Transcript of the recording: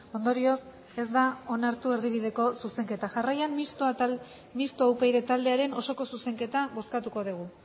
ondorioz ez da onartu erdibideko zuzenketa jarraian mistoa upyd taldearen osoko zuzenketa bozkatuko dugu